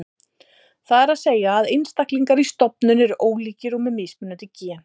Það er að segja að einstaklingar í stofnum eru ólíkir og með mismunandi gen.